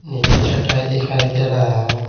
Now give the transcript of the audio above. नीचे चटाई दिखाई दे रहा है।